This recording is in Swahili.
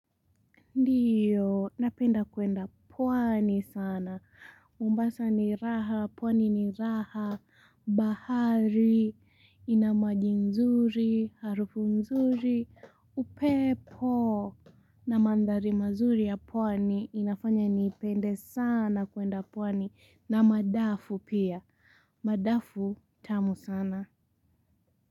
Ndiyo, napenda kuenda pwani sana, Mombasa ni raha, pwani ni raha, bahari, ina maji nzuri, harufu nzuri, upepo, na madhari mazuri ya pwani, inafanya ni pende sana kuenda pwani, na madafu pia, madafu tamu sana.